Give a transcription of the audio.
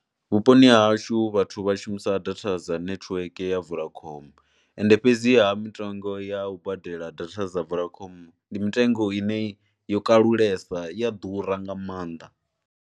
Vhuponi ha hashu vhathu vha shumisa data dza nethiweke ya Vodacom ende fhedziha mitengo ya u badela data dzi Vodacom ndi mitengo ine yo kalulesa, i ya ḓura nga maanḓa.